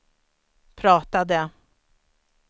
pratade